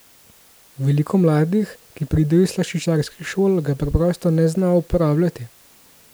Veliko mladih, ki pridejo iz slaščičarskih šol, ga preprosto ne zna uporabljati.